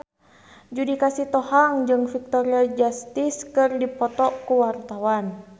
Judika Sitohang jeung Victoria Justice keur dipoto ku wartawan